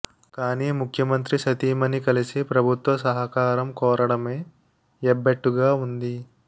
కానీ ముఖ్యమంత్రి సతీమణని కలిసి ప్రభుత్వ సహకారం కోరడమే ఎబ్బెట్టుగా ఉంది